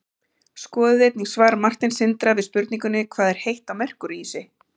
skoðið einnig svar marteins sindra við spurningunni hvað er heitt á merkúríusi